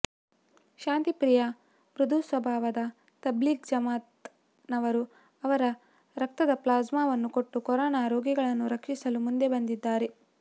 ಶಾಂತಿ ಪ್ರಿಯ ಮೃದುಸ್ವಭಾವದ ತಬ್ಲೀಗ್ ಜಮಾಅತ್ ನವರು ಅವರ ರಕ್ತದ ಪ್ಲಾಸ್ಮಾವನ್ನು ಕೊಟ್ಟು ಕೊರೋನಾ ರೋಗಿಗಳನ್ನು ರಕ್ಷಿಸಲು ಮುಂದೆ ಬಂದಿದ್ದಾರೆ